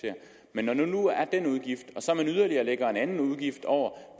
man når der nu er den udgift så lægger en yderligere udgift over